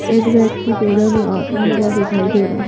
एक व्यक्ति पैदल आता हुआ दिखाई दे रहा।